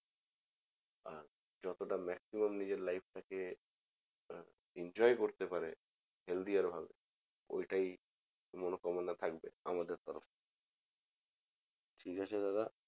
আহ যতটা maximum নিজের life টাকে enjoy করতে পারে healthier ভাবে ঐটাই মনোকামনা থাকবে আমাদের তরফ থেকে ঠিক আছে দাদা